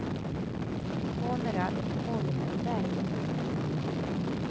Konrad Holmberg